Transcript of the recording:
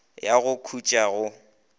a ya go khutša go